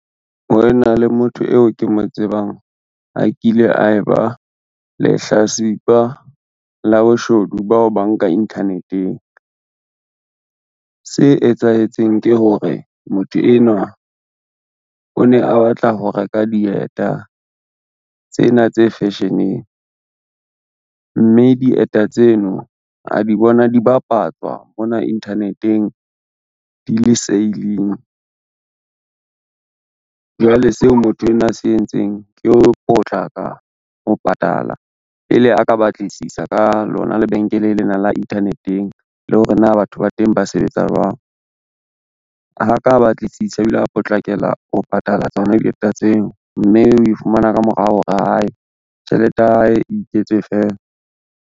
Ho ena le motho eo ke mo tsebang a kile a e ba lehlatsipa la boshodu ba ho banka internet-eng. Se etsahetseng ke hore motho enwa, o ne a batla ho reka dieta tsena tse fashion-eng, mme dieta tseno a di bona di bapatswa mona internet-eng di le sale-ng, jwale seo motho enwa a se entseng ke ho potlaka ho patala pele a ka batlisisa ka lona lebenkele lena la internet-eng le hore na batho ba teng ba sebetsa jwang. Ha ka batlisisa o ila potlakela ho patala tsona dieta tseo, mme we fumana ka morao hore hai tjhelete ya hae iketse fela.